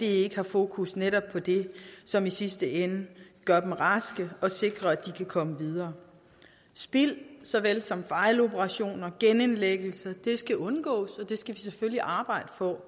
ikke har fokus netop på det som i sidste ende gør dem raske og sikrer at de kan komme videre spild såvel som fejloperationer og genindlæggelser skal undgås og det skal der selvfølgelig arbejdes på